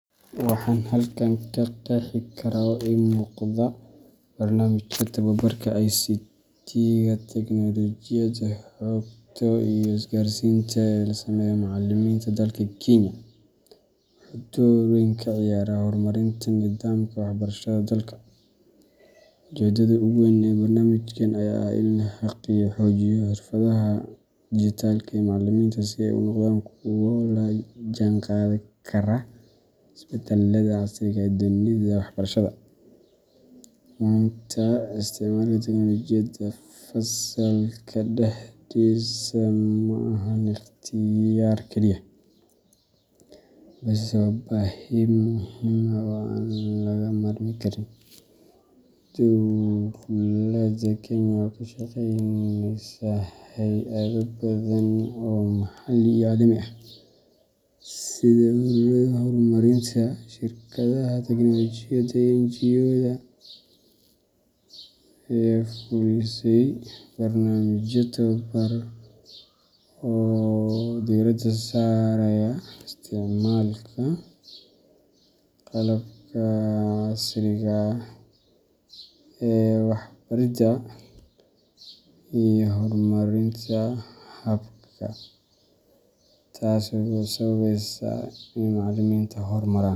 Waxan halkan ka qexii kara oo ii muqda . Barnaamijka tababarka ICT ga Teknoolojiyadda Xogta iyo Isgaarsiinta ee loo sameeyo macallimiinta dalka Kenya wuxuu door weyn ka ciyaaraa horumarinta nidaamka waxbarashada dalka. Ujeeddada ugu weyn ee barnaamijkan ayaa ah in la xoojiyo xirfadaha dijitaalka ah ee macallimiinta si ay u noqdaan kuwo la jaanqaadi kara isbeddellada casriga ah ee dunida waxbarashada. Maanta, isticmaalka teknoolojiyadda fasalka dhexdiisa ma ahan ikhtiyaar kaliya, balse waa baahi muhiim ah oo aan laga maarmi karin. Dowladda Kenya oo kaashaneysa hay’ado badan oo maxalli iyo caalami ah, sida ururada horumarinta, shirkadaha tiknoolajiyadda, iyo NGO yada, ayaa fulisay barnaamijyo tababar ah oo diiradda saaraya isticmaalka qalabka casriga ah ee waxbaridda iyo horumarinta habka . Taso sababesa ini macaliminta horumaran.